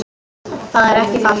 Það er ekki falt